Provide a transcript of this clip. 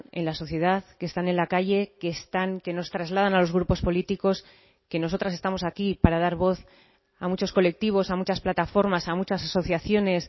en la sociedad que están en la calle que están que nos trasladan a los grupos políticos que nosotras estamos aquí para dar voz a muchos colectivos a muchas plataformas a muchas asociaciones